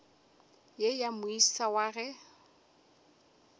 ye ya moisa wa ge